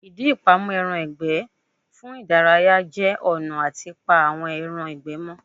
Ìdí ìpamọ́ ẹran ìgbẹ́ fún ìdárayá jẹ́ ọ̀nà àti pa àwọn ẹran ìgbẹ́ mọ́